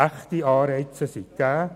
Echte Anreize sind gegeben.